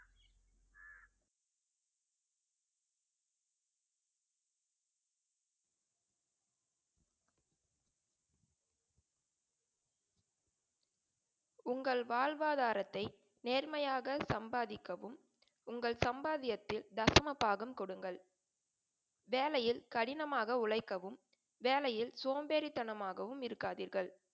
உங்கள் வாழ்வாதாரத்தை நேர்மையாக சம்பாதிக்கவும் உங்கள் சம்பாத்தியத்தில் தசமபாகம் கொடுங்கள். வேலையில் கடினமாக உழைக்கவும், வேலையில் சோம்பேறித்தனமாகவும் இருக்காதீர்கள்.